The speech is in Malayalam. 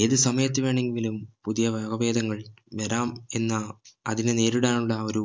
ഏത് സമയത്ത് വേണെങ്കിലും പുതിയ വകഭേദങ്ങൾ വരാം എന്ന അതിനെ നേരിടാനുള്ള ഒരു